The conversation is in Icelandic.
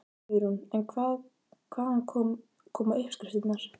Hugrún: En hvaðan koma uppskriftirnar?